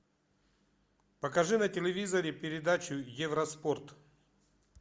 покажи на телевизоре передачу евроспорт